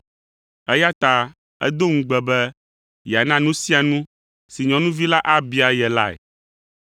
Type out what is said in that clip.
eya ta edo ŋugbe be yeana nu sia nu si nyɔnuvi la abia ye lae.